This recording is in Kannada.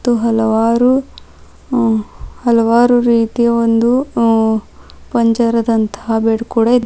ಮತ್ತು ಹಲವಾರು ಹಲವಾರು ರೀತಿಯ ಒಂದು ಅಹ್ ಪಂಜರದಂತಹ ಬೆಡ್ ಕೂಡ ಇ --